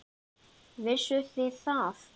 Vissuð þið það?